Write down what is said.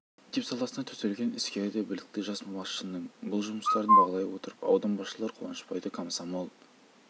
мектеп саласына төселген іскер де білікті жас басшының бұл жұмыстарын бағалай отырып аудан басшылары қуанышбайды комсомол